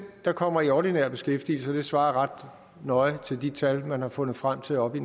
der kommer i ordinær beskæftigelse det svarer ret nøje til de tal man har fundet frem til oppe i